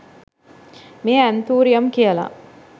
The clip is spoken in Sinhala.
මේ ඇන්තූරියම් කියල